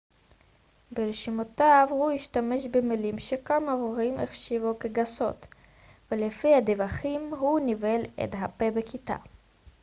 ברשימותיו הוא השתמש במילים שכמה הורים החשיבו כגסות ולפי הדיווחים הוא ניבל את הפה בכיתה